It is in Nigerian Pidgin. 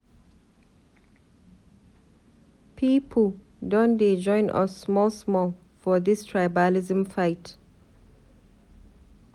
Pipu don dey join us small small for dis tribalism fight.